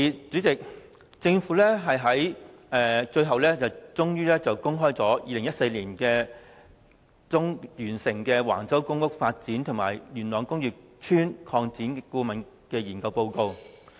政府最後終於公開2014年年中完成的橫洲公共房屋發展及工業邨擴展規劃及工程研究報告。